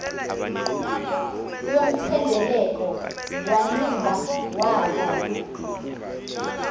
yomthendeleko wanciba wava